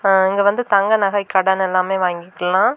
அ இங்கே வந்து தங்க நகை கடன் எல்லாமே வாங்கிக்கலா.